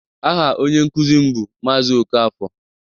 Aha onye nkuzi m bụ Maazị Okafor